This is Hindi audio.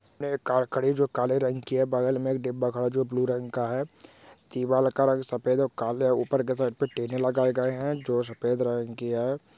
कार खड़ी हे जो काले रांग की हे बगल मे एक डिब्बा हे जो ब्लू रंग का हे दीवाल का रंग साफेद और काले उपार के साईड पे टिन लागाये गये हे जो सफेद रंग की हे।